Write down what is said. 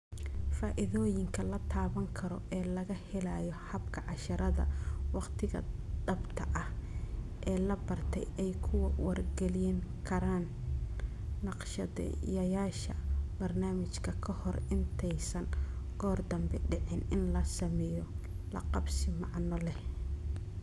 Faa'iidooyinka la taaban karo ee laga helayo habka casharrada waqtiga-dhabta ah ee la bartay ay ku wargelin karaan naqshadeeyayaasha barnaamijka ka hor intaysan goor dambe dhicin in la sameeyo laqabsi macno leh.